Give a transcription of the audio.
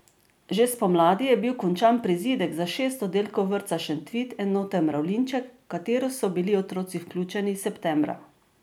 Že spomladi je bil končan prizidek za šest oddelkov vrtca Šentvid, enote Mravljinček, v katero so bili otroci vključeni septembra.